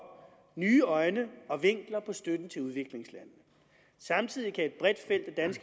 nye øjne og vinkler på støtten til udviklingslandene samtidig kan